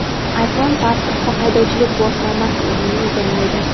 iPhone pasport va haydovchilik guvohnomasi o‘rnini egallaydi.